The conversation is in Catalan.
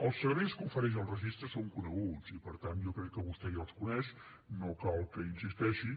els serveis que ofereix el registre són coneguts i per tant jo crec que vostè ja els coneix no cal que hi insisteixi